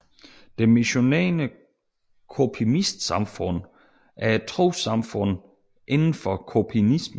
Det Missionerende Kopimistsamfund er et trossamfund indenfor Kopimismen